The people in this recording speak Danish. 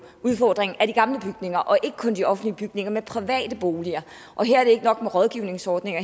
udfordringen er de gamle bygninger og ikke kun de offentlige bygninger men private boliger og her er det ikke nok med rådgivningsordninger